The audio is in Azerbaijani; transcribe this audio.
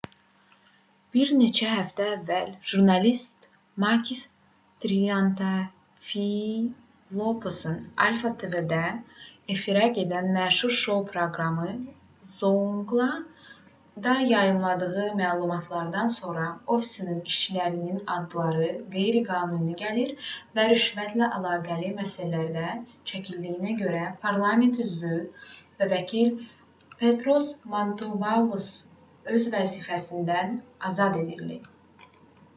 bir neçə həftə əvvəl jurnalist makis triantafylopoulos alpha tv-də efirə gedən məşhur şou proqramı zoungla"da yayımladığı məlumatlardan sonra ofisinin işçilərinin adları qeyri-qanuni gəlir və rüşvətlə əlaqəli məsələlərdə çəkildiyinə görə parlament üzvü və vəkil petros mantouvalos öz vəzifəsindən azad edildi